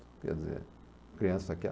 Quer dizer, criança quer.